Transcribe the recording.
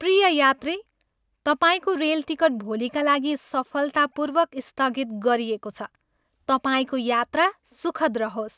प्रिय यात्री, तपाईँको रेल टिकट भोलिका लागि सफलतापूर्वक स्थगित गरिएको छ। तपाईँको यात्रा सुखद रहोस्!